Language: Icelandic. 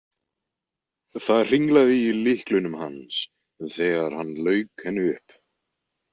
Það hringlaði í lyklunum hans þegar hann lauk henni upp.